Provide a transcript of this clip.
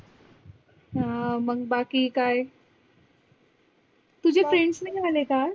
आह मग बाकी काय? तुझे friends नाही आले का आज़?